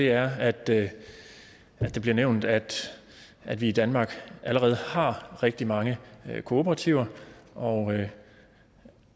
er at det det bliver nævnt at at vi i danmark allerede har rigtig mange kooperativer og